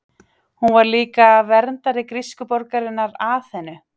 hún var líka verndari grísku borgarinnar aþenu